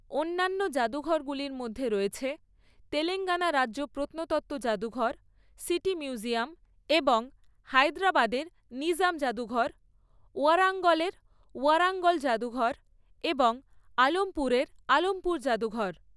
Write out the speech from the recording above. অন্যান্য জাদুঘরগুলির মধ্যে রয়েছে তেলাঙ্গানা রাজ্য প্রত্নতত্ত্ব জাদুঘর, সিটি মিউজিয়াম, এবং হায়দ্রাবাদের নিজাম জাদুঘর, ওয়ারাঙ্গলের ওয়ারাঙ্গল জাদুঘর এবং আলমপুরের আলমপুর জাদুঘর।